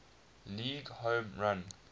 league home run